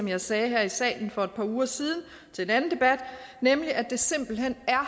jeg sagde her i salen for par uger siden til en anden debat nemlig at det simpelt hen er